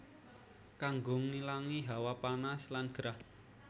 Kanggo ngilangi hawa panas lan gerah